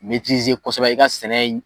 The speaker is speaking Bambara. N'i ti se kɔsɛbɛ, i ka sɛnɛ